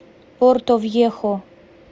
портовьехо